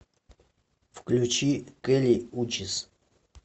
включи кэли учис